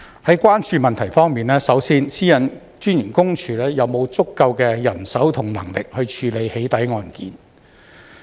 在關注問題方面，首先，私隱公署有沒有足夠人手和能力處理"起底"案件。